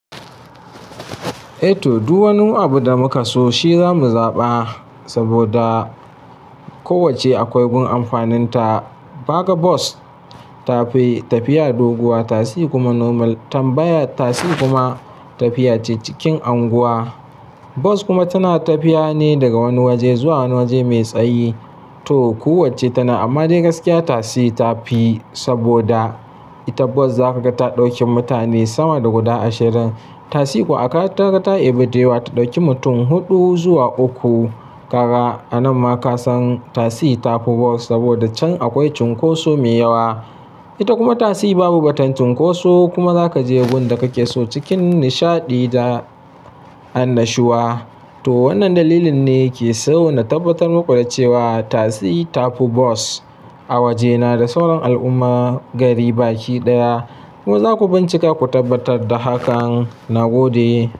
Eh to, duk wani abu da muka so shi za mu zaɓa saboda kowacce akwai gun amfaninta. Baga bas ta fi tafiya doguwa, tasi kuma normal tambaya tasi kuma tafiya ce cikin unguwa. Bas kuma tana tafiya ne daga wani waje zuwa wani waje mai tsayi. To, kowacce tana amma dai gaskiya tasi ta fi saboda ita bas za ka ga ta ɗauki mutane sama da guda ashirin. Tasi kuwa aka kaga ta ibe dayawa ta ɗauki mutum huɗu zuwa uku kaga A nan ma ka san tasi ta fi bas saboda can akwai cunkoso mai yawa. Ita kuma tasi babu ba tantunkoso kuma za ka je gun da kake so cikin nishaɗi da annashuwa. To, wannan dalilin ne ke sauna tabbatar muku da cewa tasi ta fi bas a waje na da sauran al'umma gari baki ɗaya. Ku ma za ku bincika ku tabbatar da hakan. Na gode.